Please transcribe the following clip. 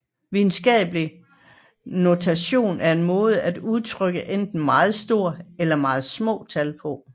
Videnskabelig notation er en måde at udtrykke enten meget store eller meget små tal på